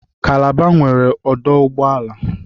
Kalaba nwere ọdụ ụgboala